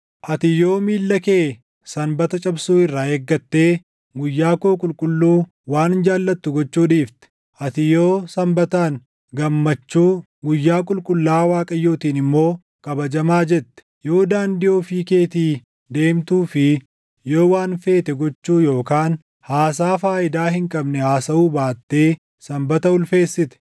“Ati yoo miilla kee Sanbata cabsuu irraa eeggattee guyyaa koo qulqulluu waan jaallattu gochuu dhiifte, ati yoo Sanbataan, ‘Gammachuu’ guyyaa qulqullaaʼaa Waaqayyootiin immoo, ‘Kabajamaa’ jette, yoo daandii ofii keetii deemtuu fi yoo waan feete gochuu yookaan haasaa faayidaa hin qabne haasaʼuu baattee // Sanbata ulfeessite,